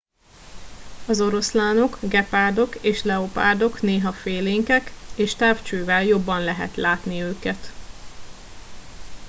az oroszlánok gepárdok és leopárdok néha félénkek és távcsővel jobban lehet látni őket